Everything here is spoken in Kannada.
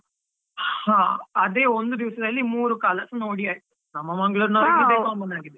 ಹ ಅದೇ ಒಂದು ದಿವಸದಲ್ಲಿ ಮೂರೂ ಕಾಲಸ ನೋಡಿ ಆಯ್ತು, .